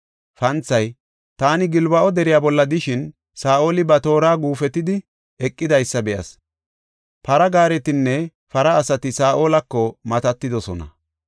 Panthay, “Taani Gilbo7a deriya bolla de7ishin, Saa7oli ba toora guufetidi eqidaysa be7as; para gaaretinne para asati Saa7olako matatidosona.